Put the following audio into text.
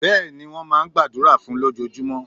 Béèni, wón máa n gbàdúrà fún un lójojúmó